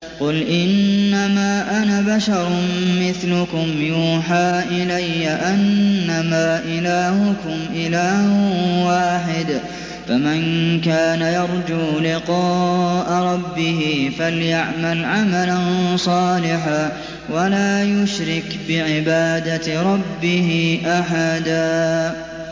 قُلْ إِنَّمَا أَنَا بَشَرٌ مِّثْلُكُمْ يُوحَىٰ إِلَيَّ أَنَّمَا إِلَٰهُكُمْ إِلَٰهٌ وَاحِدٌ ۖ فَمَن كَانَ يَرْجُو لِقَاءَ رَبِّهِ فَلْيَعْمَلْ عَمَلًا صَالِحًا وَلَا يُشْرِكْ بِعِبَادَةِ رَبِّهِ أَحَدًا